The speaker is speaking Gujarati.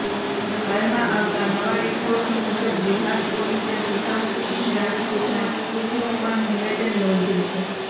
હાલમાં આવતા નવા રિપોર્ટ મુજબ બિહાર પોલીસે સુશાંત સિંહ રાજપૂતના કુકનું પણ નિવેદન નોંધ્યું છે